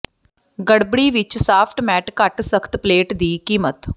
ਗੜਬੜੀ ਵਿਚ soft mat ਘੱਟ ਸਖ਼ਤ ਪਲੇਟ ਦੀ ਕੀਮਤ